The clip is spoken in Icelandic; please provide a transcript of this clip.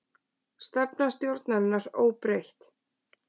Stefna stjórnarinnar óbreytt